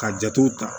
Ka jatew ta